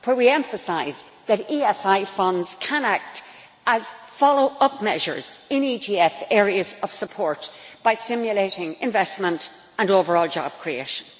We emphasize that ESI funds can act as follow up measures in EGF areas of support by stimulating investment and overall job creation.